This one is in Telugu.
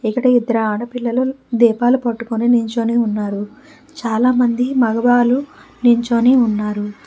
ఇక్కడ ఇద్దరు ఆడపిల్లలు దీపాలు పట్టుకొని నించొని ఉన్నారు చాలా మంది మగవాళ్ళు నించొని ఉన్నారు.